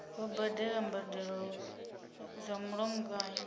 vha badela mbadelo dza mulamukanyi